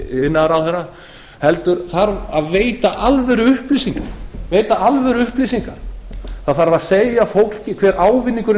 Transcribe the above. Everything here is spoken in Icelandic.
iðnaðarráðherra heldur þarf að veita alvöruupplýsingar það þarf að segja fólki hver ávinningurinn